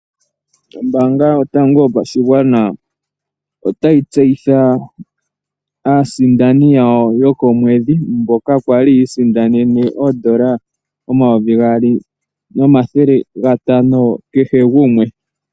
Ombaanga yotango yopashigwana otayi tseyitha aasindani yawo yokomwedhi, mboka yali yi isindanena oodola omayovi gaali nomathele gatano kehe gumwe.